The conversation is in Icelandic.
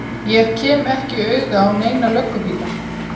Ég kem ekki auga á neina löggubíla.